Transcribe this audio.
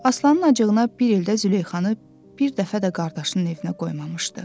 Aslanın acığına bir ildə Züleyxanı bir dəfə də qardaşının evinə qoymamışdı.